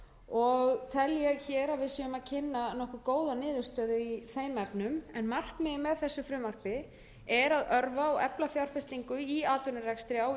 og tel ég að við séum að kynna nokkuð góða niðurstöðu í þeim efnum en markmiðið með þessu frumvarpi er að örva og efla fjárfestingu í atvinnurekstri á